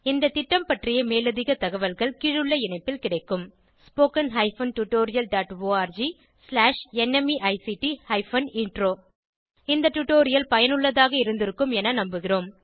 இந்த திட்டம் பற்றிய மேலதிக தகவல்கள் கீழுள்ள இணைப்பில் கிடைக்கும் spoken hyphen tutorial dot org slash NMEICT hyphen intro இந்த டுடோரியல் பயனுள்ளதாக இருந்திருக்கும் என நம்புகிறோம்